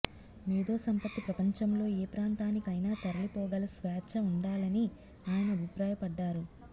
మేధోసంపత్తి ప్రపంచంలో ఏ ప్రాంతానికైనా తరలిపోగల స్వేచ్ఛ ఉండాలని ఆయన అభిప్రాయపడ్డారు